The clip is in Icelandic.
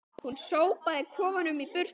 Hún sópaði kofanum í burtu